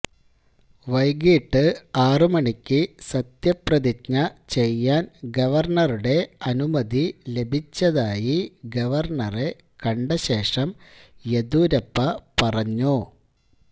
വൈകിട്ട് ആറ് മണിക്ക് സത്യപ്രതിജ്ഞ ചെയ്യാന് ഗവര്ണറുടെ അനുമതി ലഭിച്ചതായി ഗവര്ണറെ കണ്ട ശേഷം യെദ്യൂരപ്പ പറഞ്ഞു